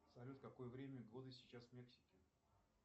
салют какое время года сейчас в мексике